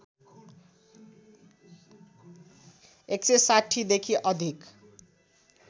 १६० देखि अधिक